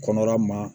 Kɔnɔla ma